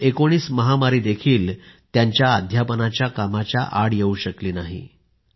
COVID-19 महामारी देखील त्यांच्या अध्यापनाच्या कामाच्या आड येऊ शकली नाही